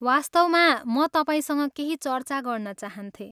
वास्तवमा, म तपाईँसँग केही चर्चा गर्न चाहन्थेँ।